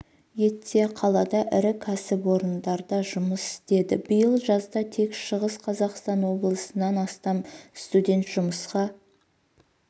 етсе қалада ірі кәсіпорындарда жұмыс істеді биыл жазда тек шығыс қазақстан облысынан астам студент жұмысқа